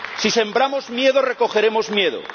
Si sembramos miedo, recogeremos miedo.